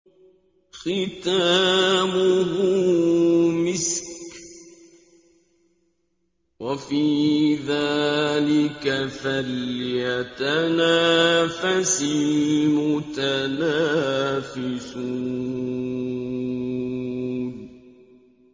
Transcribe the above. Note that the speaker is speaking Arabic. خِتَامُهُ مِسْكٌ ۚ وَفِي ذَٰلِكَ فَلْيَتَنَافَسِ الْمُتَنَافِسُونَ